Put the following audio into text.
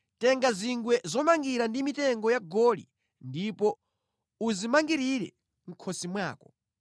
“Tenga zingwe zomangira ndi mitengo ya goli ndipo uzimangirire mʼkhosi mwako.